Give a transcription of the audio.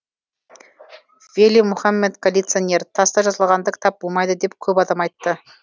вели мухаммед коллекционер таста жазылғанда кітап болмайды деп көп адам айтты